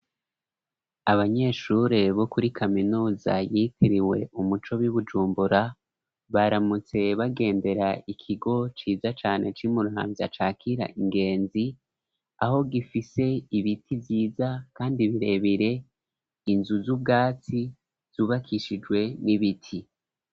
Abanyeshure bo kuri kaminuza yitiriwe Umuco bi Bujumbura baramutse bagendera ikigo ciza cane ci Muramvya cakira ingenzi aho gifise ibiti vyiza kandi birebire inzu z'ubwatsi zubakishijwe n'ibiti.